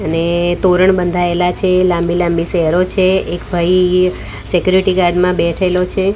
અને તોરણ બંધયેલા છે લાંબી-લાંબી સેરો છે એક ભઈ સેક્યુરીટી ગાર્ડ માં બેઠેલો છે.